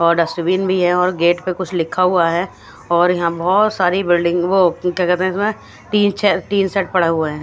और डस्टबिन बी हैं और गेट पे कुछ लिखा हुआ हैं और यहाँ बहुत सारि बिल्डिंग और वो टेरेस पे टीसेट पडा हुआ हैं --